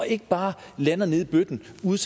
ikke bare lander nede i bøtten ude